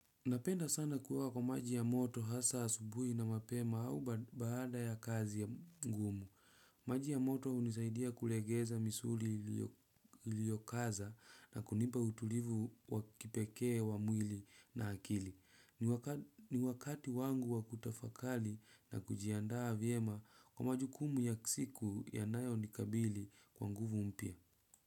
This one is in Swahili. Napenda sana kuoga kwa maji ya moto hasa asubuhi na mapema au baada ya kazi ya ngumu. Maji ya moto hunisaidia kulegeza misuri liyokaza na kunipa utulivu wakipekee wa mwili na akili. Ni wakati wangu wakutafakari na kujiandaa vyema kwa maju kumu ya siku ya nayo nikabili kwa nguvu mpya.